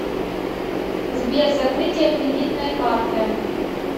сбер закрытие кредитной карты